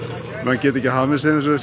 geta ekki hamið sig